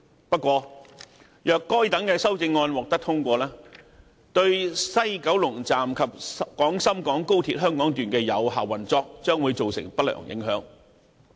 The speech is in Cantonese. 不過，如果該些修正案獲得通過，對西九龍站及廣深港高鐵香港段的有效運作將會造成不良影響。